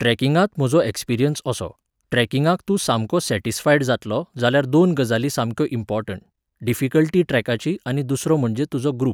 ट्रॅकिंगांत म्हाजो एक्सपरियंस असो, ट्रॅकिंगाक तूं सामको सॅटिस्फायड जातलो जाल्यार दोन गजाली सामक्यो इम्पॉर्टंट, डिफिकल्टी ट्रॅकाची आनी दुसरो म्हणजे तुजो ग्रुप.